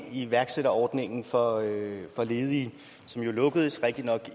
iværksætterordningen for ledige som jo rigtigt nok